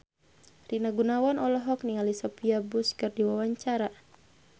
Rina Gunawan olohok ningali Sophia Bush keur diwawancara